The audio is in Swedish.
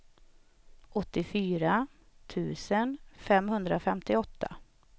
åttiofyra tusen femhundrafemtioåtta